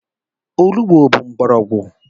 Olugbo bụ mgbọrọgwụ.